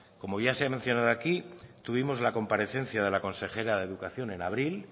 como ya se ha anunciado aquí tuvimos la comparecencia de la consejera de educación en abril